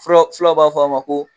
Filaw b'a fɔ a ma ko